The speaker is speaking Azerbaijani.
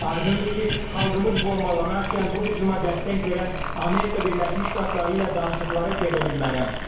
Aydındır ki, xalqımız bombalanarkən bu hücuma dəstək verən Amerika Birləşmiş Ştatları ilə danışıqlara gedə bilmərəm.